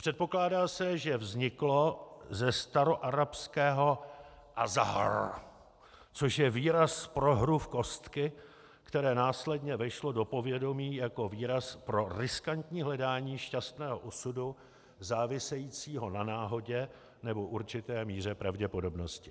Předpokládá se, že vzniklo ze staroarabského azzahr, což je výraz pro hru v kostky, které následně vešlo do povědomí jako výraz pro riskantní hledání šťastného osudu závisejícího na náhodě nebo určité míře pravděpodobnosti.